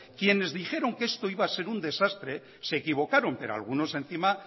quienes dijeron que esto iba a ser un desastre se equivocaron pero algunos encima